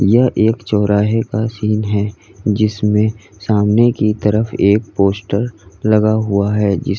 यह एक चौराहे का सीन है जिसमें सामने की तरफ एक पोस्टर लगा हुआ है जिस--